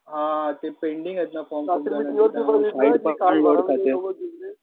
हां ते पेंडिंग आहेत ना फॉर्म साईडपण लोडखाते.